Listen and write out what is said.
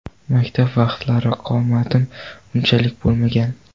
Maktab vaqtlari qomatim unchalik bo‘lmagan”.